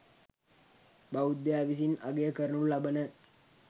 බෞද්ධයා විසින් අගය කරනු ලබන